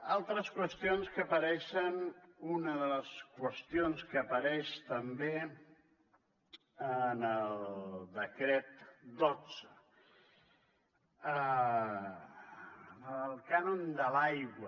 altres qüestions que apareixen una de les qüestions que apareix també en el decret dotze el cànon de l’aigua